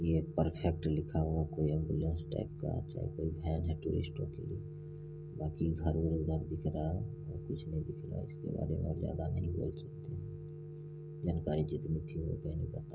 ये परफेक्ट लिखा हुआ कोई एंबुलेंस टाइप का चाहे कोई वैन है बाकी घर उर इधर दिख रहा है और कुछ ने दिख रहा है इसके बारे में और ज्यादा नहीं बोल सकते जानकरी जितनी थी वो मैंने बता--